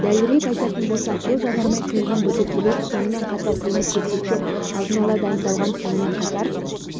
дәлірек айтатын болсақ бұл жанармай құйылған бөтелкелер сонымен қатар темір-терсектер алдын ала дайындалған сонымен қатар